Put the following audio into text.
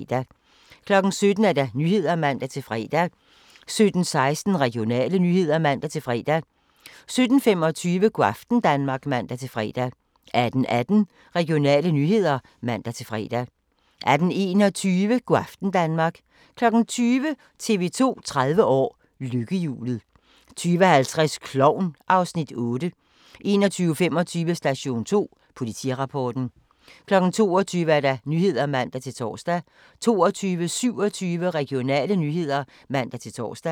17:00: Nyhederne (man-fre) 17:16: Regionale nyheder (man-fre) 17:25: Go' aften Danmark (man-fre) 18:18: Regionale nyheder (man-fre) 18:21: Go' aften Danmark 20:00: TV 2 30 år: Lykkehjulet 20:50: Klovn (Afs. 8) 21:25: Station 2: Politirapporten 22:00: Nyhederne (man-tor) 22:27: Regionale nyheder (man-tor)